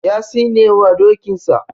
Ya tsinewa dokinsa.